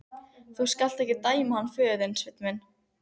Þú skalt ekki dæma hann föður þinn, Sveinn minn.